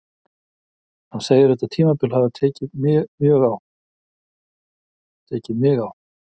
Hann segir þetta tímabil hafa tekið mig á.